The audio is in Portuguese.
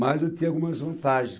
Mas eu tinha algumas vantagens.